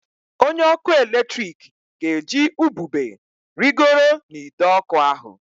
Onye ọkụ eletrik ga-eji ubube rịgoro n'ide ọkụ ahụ